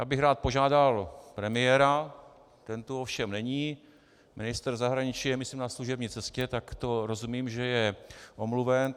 Já bych rád požádal premiéra, ten tu ovšem není, ministr zahraničí je myslím na služební cestě, tak to rozumím, že je omluven.